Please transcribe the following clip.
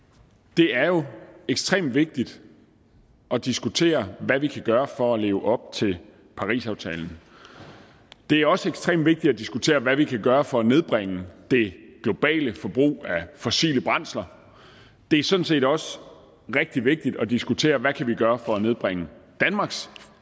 det er jo ekstremt vigtigt at diskutere hvad vi kan gøre for at leve op til parisaftalen det er også ekstremt vigtigt at diskutere hvad vi kan gøre for at nedbringe det globale forbrug af fossile brændsler det er sådan set også rigtig vigtigt at diskutere hvad vi kan gøre for at nedbringe danmarks